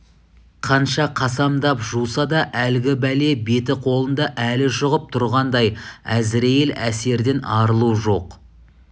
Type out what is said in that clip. қанша қасамдап жуса да әлгі бәле беті-қолында әлі жұғып тұрғандай әзірейіл әсерден арылу жоқ